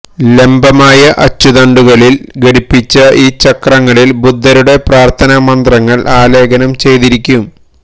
ലംബമായ അച്ചുതണ്ടുകളിൽ ഘടിപ്പിച്ച ഈ ചക്രങ്ങളിൽ ബുദ്ധരുടെ പ്രാർത്ഥനാ മന്ത്രങ്ങൾ ആലേഖനം ചെയ്ത്തിരിക്കും